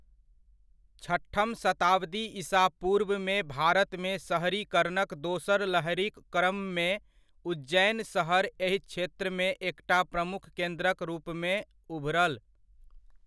छठम शताब्दी ईसा पूर्वमे भारतमे सहरीकरणक दोसर लहरिक क्रममे उज्जैन सहर एहि क्षेत्रमे एकटा प्रमुख केन्द्रक रूपमे उभरल।